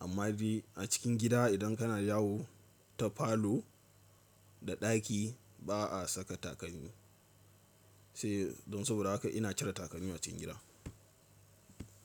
Amma dai a cikin gida idan kana yawo ta falo da ɗaki ba a saka takalmi sai don saboda haka ina cire takalmi a cikin gida.